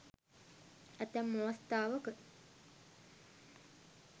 ඇතැම් අවස්ථාවක